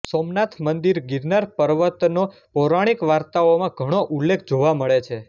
સોમનાથ મંદિર ગિરનાર પર્વતનો પૌરાણિક વાર્તાઓમાં ઘણો ઉલ્લેખ જોવા મળે છે